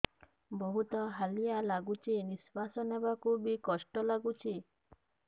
ବହୁତ୍ ହାଲିଆ ଲାଗୁଚି ନିଃଶ୍ବାସ ନେବାକୁ ଵି କଷ୍ଟ ଲାଗୁଚି